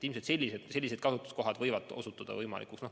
Ilmselt sellised kasutuskohad osutuvad võimalikuks.